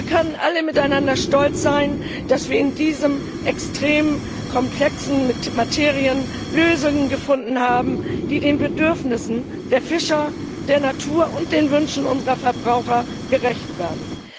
Wir können alle miteinander stolz sein, dass wir in dieser extrem komplexen Materie Lösungen gefunden haben, die den Bedürfnissen der Fischer, der Natur und den Wünschen unserer Verbraucher gerecht werden.